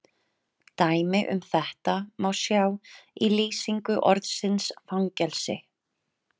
Dæmi um þetta má sjá í lýsingu orðsins fangelsi